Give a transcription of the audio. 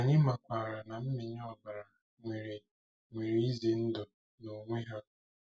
Anyị makwaara na mmịnye ọbara nwere nwere ize ndụ n'onwe ha.